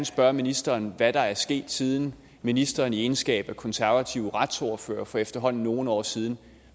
spørge ministeren hvad der er sket siden ministeren i sin egenskab af konservativ retsordfører for efterhånden nogle år siden